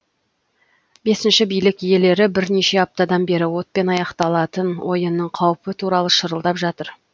бесінші билік иелері бірнеше аптадан бері отпен аяқталатын ойынның қаупі туралы шырылдап жатыр